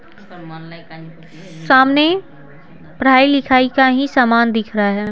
सामने पढ़ाई लिखाई का ही सामान दिख रहा है।